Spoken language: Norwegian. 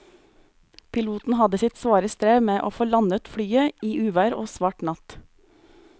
Piloten hadde sitt svare strev med å få landet flyet i uvær og svart natt.